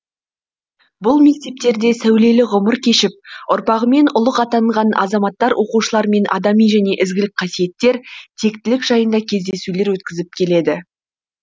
бұл мектептерде сәулелі ғұмыр кешіп ұрпағымен ұлық атанған азаматтар оқушылармен адами және ізгілік қасиеттер тектілік жайында кездесулер өткізіп келеді